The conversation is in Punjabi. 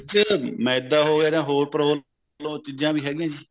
ਦੇ ਵਿੱਚ ਮੈਦਾ ਹੋ ਗਿਆ ਜਾ ਹੋਰ ਚੀਜਾਂ ਵੀ ਹੈਗਿਆ ਜੀ